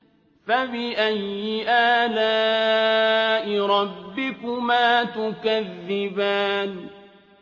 فَبِأَيِّ آلَاءِ رَبِّكُمَا تُكَذِّبَانِ